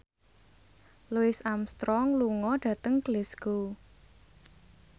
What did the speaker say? Louis Armstrong lunga dhateng Glasgow